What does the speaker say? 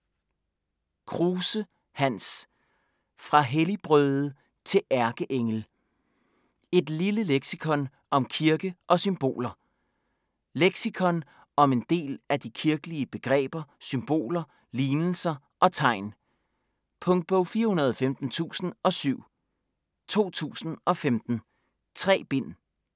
Kruse, Hans: Fra helligbrøde til ærkeengel: et lille leksikon om kirke og symboler Leksikon om en del af de kirkelige begreber, symboler, lignelser og tegn. Punktbog 415017 2015. 3 bind.